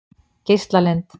Geislalind